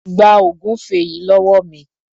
Gba ògúnfẹ yìí lówó mi.